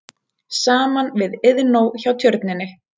Saman við Iðnó hjá Tjörninni.